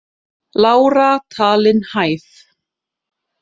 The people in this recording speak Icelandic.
Lára talin hæf